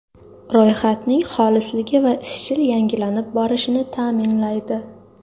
Ro‘yxatning xolisligi va izchil yangilanib borishini ta’minlaydi.